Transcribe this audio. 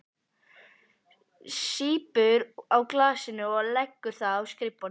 Sýpur á glasinu og leggur það á skrifborðið.